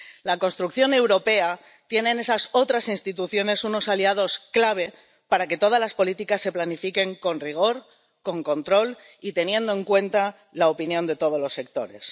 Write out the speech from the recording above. La construcción europea tiene en esas otras instituciones unos aliados clave para que todas las políticas se planifiquen con rigor, con control y teniendo en cuenta la opinión de todos los sectores.